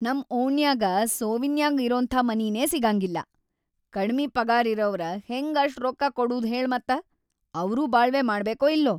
ನಂ ಓಣ್ಯಾಗ ಸೋವಿನ್ಯಾಗ್ ಇರೋಂಥ ಮನೀನೇ ಸಿಗಂಗಿಲ್ಲಾ‌, ಕಡ್ಮಿ ಪಗಾರಿರವ್ರ್ ಹೆಂಗ್‌‌ ಅಷ್ಟ್ ರೊಕ್ಕ ಕೊಡೂದ್ ಹೇಳ್‌ ಮತ್ತ.‌ ಅವ್ರೂ ಬಾಳ್ವೆ ಮಾಡ್ಬೇಕೋ ಇಲ್ಲೋ!